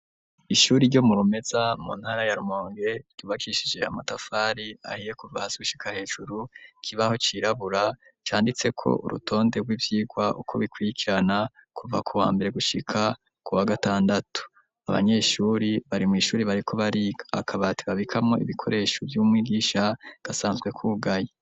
Ishuri ryo mu Rumeza mu ntara ya Rumonge ryubakishije amatafari ahiye kuva hasushika hejuru kibaho cirabura canditse ko urutonde rw'ivyirwa uko bikwirikirana kuva ku wa mbere gushika ku wa gatandatu .Abanyeshuri bari mu ishuri bari ko bari akabati babikamo ibikoresho by'umwigisha gasanzwe kugaye.